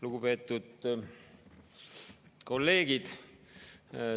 Lugupeetud kolleegid!